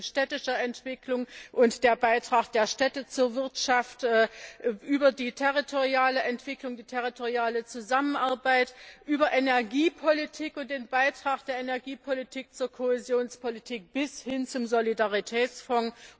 Das reicht von städtischer Entwicklung und dem Beitrag der Städte zur Wirtschaft über die territoriale Entwicklung, die territoriale Zusammenarbeit, über Energiepolitik und den Beitrag der Energiepolitik zur Kohäsionspolitik bis hin zum Solidaritätsfonds.